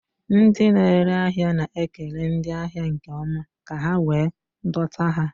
Ndị na-ere ahịa na-ekele ndị ahịa nke ọma ka ha wee dọta ha